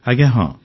ଆଜ୍ଞା ହଁ